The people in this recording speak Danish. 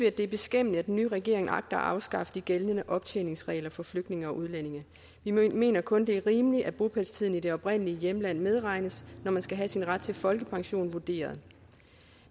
at det er beskæmmende at den nye regering agter at afskaffe de gældende optjeningsregler for flygtninge og udlændinge vi mener kun det er rimeligt at bopælstiden i det oprindelige hjemland medregnes når man skal have sin ret til folkepension vurderet